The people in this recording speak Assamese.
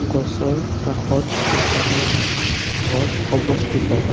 গছৰ কাষত কেইটামান ঘৰ অৱস্থিত।